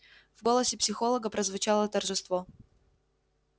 в голосе психолога прозвучало торжество